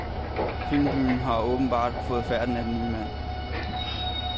Filmbyen har åbenbart fået færten af den nye mand.